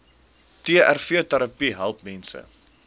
trvterapie help mense